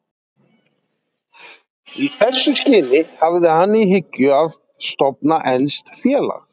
Í þessu skyni hafði hann í hyggju að stofna enskt félag.